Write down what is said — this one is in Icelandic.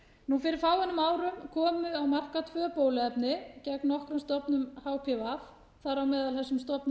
fyrir fáeinum árum komu á markað tvö bóluefni gegn nokkrum stofnum hpv þar á meðal þessum stofnum